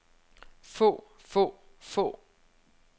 få få få